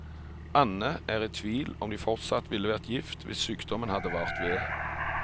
Anne er i tvil om de fortsatt ville vært gift hvis sykdommen hadde vart ved.